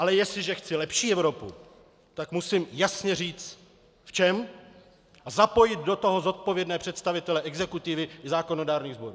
Ale jestliže chci lepší Evropu, tak musím jasně říct v čem a zapojit do toho zodpovědné představitele exekutivy i zákonodárných sborů.